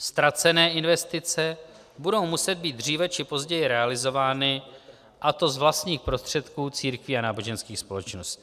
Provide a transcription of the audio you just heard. Ztracené investice budou muset být dříve či později realizovány, a to z vlastních prostředků církví a náboženských společností.